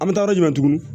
An bɛ taa yɔrɔ jumɛn tuguni